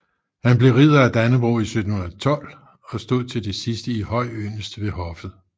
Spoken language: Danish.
Han blev Ridder af Dannebrog 1712 og stod til det sidste i høj yndest ved hoffet